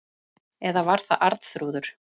Eða var það Arnþrúður?